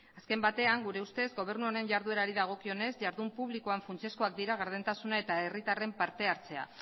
azken batean gure ustez gobernu honen jarduerari dagokionez jardun publikoan funtsezkoak dira gardentasuna eta herritarren parte hartzea